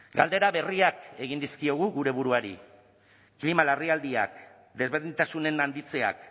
galdera berriak egin dizkiogu gure buruari klima larrialdiak desberdintasunen handitzeak